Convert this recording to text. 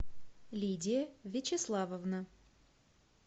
лидия вячеславовна